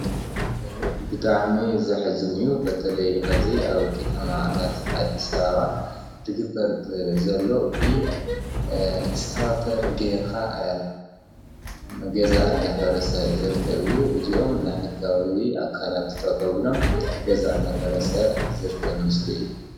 ብጣዕሚ ዘሐዝን እዩ በተለይ ሕዚ ኣብ ከተማታት ኣዲስ ኣበባ ዝግበር ዘሎ ብ እስካቫተር ጌርካ ገዛ እናፈረሰ ዝርከብ እዩ:: እዚኦም ናይ ሕጋዊ ኣካላት ጠጠዉ ኢሎም ገዛ እናፈረሰ ዝርከብ ምስሊ እዩ ።